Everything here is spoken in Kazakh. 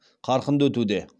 қарқынды өтуде